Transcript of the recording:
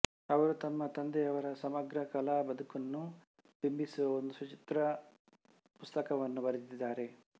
ಅವರು ತಮ್ಮ ತಂದೆಯವರ ಸಮಗ್ರ ಕಲಾ ಬದುಕನ್ನು ಬಿಂಬಿಸುವ ಒಂದು ಸಚಿತ್ರ ಪುಸ್ತಕವನ್ನೂ ಬರೆದಿದ್ದಾರೆ